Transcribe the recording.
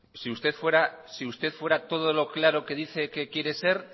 si usted fuera todo lo claro que dice que quiere ser